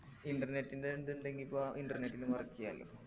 internet ൻ്റെ എന്ത്ണ്ടെങ്കി ഇപ്പൊ internet ലും work ചെയ്യലോ